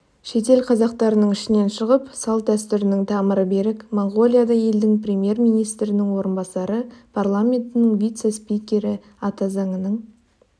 шетел қазақтарының ішінен шығып салт-дәстүрінің тамыры берік моңғолиядай елдің премьер министрінің орынбасары парламентінің вице-спикері атазаңының